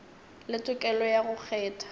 le tokelo ya go kgetha